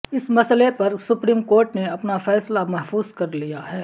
اس مسئلے پر supreme court نے اپنا فیصلہ محفوظ کر لیا ہے